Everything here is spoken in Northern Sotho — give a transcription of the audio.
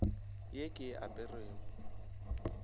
le ye ke e aperego